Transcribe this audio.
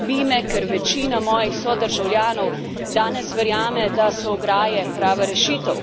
Skrbi me, ker večina mojih sodržavljanov danes verjame, da so ograje prava rešitev.